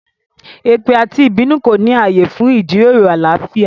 Èpè àti ìbínú kò ní ààyè fún ìjíròrò àlàáfíà